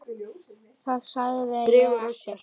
Það sagði ég ekki.